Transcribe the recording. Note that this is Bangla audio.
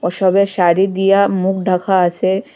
সবে শাড়ি দিয়া মুখ ঢাকা আসে।